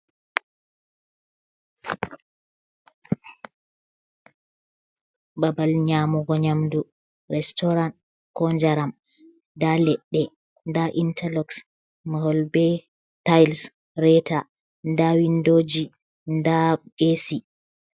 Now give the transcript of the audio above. Babal nyaamugo nyaamdu restorant, koo njaram, nda leɗɗe nda intalok, ngol bee taayels, reeta, nda windooji, nda eesi.